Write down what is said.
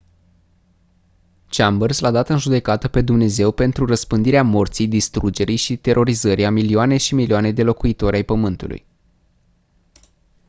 chambers l-a dat în judecată pe dumnezeu pentru «răspândirea morții distrugerii și terorizării a milioane și milioane de locuitori ai pământului».